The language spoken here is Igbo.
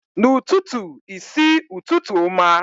N'ututu i si, Ututu oma.